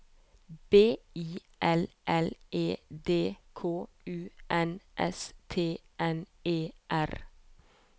B I L L E D K U N S T N E R